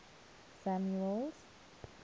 samuel's